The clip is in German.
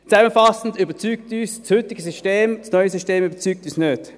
Zusammenfassend überzeugt uns das heutige System, das neue System überzeugt uns nicht.